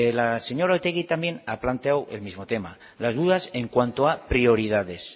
la señora otegi también ha planteado el mismo tema las dudas en cuanto a prioridades